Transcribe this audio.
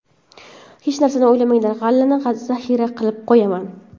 Hech narsani o‘ylamanglar g‘allani zaxira qilib qo‘yaman.